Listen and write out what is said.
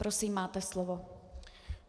Prosím, máte slovo.